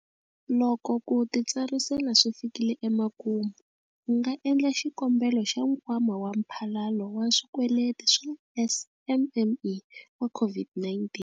Loko ku titsarisela swi fikile emakumu, u nga endla xikombelo xa Nkwama wa Mphalalo wa Swikweleti wa SMME wa COVID-19.